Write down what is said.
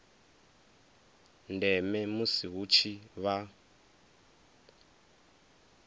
ndeme musi hu tshi vha